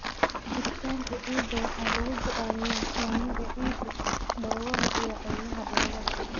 Jiritaanka ciidda waxaa lagu go'aamiyaa saamiga ciidda, dhoobada iyo qaybaha dhoobada.